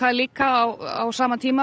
líka á sama tíma